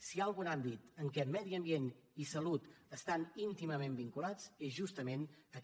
si hi ha algun àmbit en què medi ambient i salut estan íntimament vinculats és justament aquest